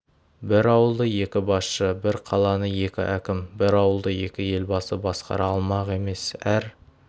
бір ауылды екі басшы бір қаланы екі әкім бір елді екі елбасы басқара алмақ емес әр